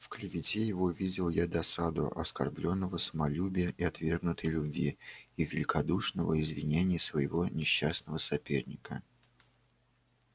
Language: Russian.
в клевете его видел я досаду оскорблённого самолюбия и отвергнутой любви и великодушно извинения своего несчастного соперника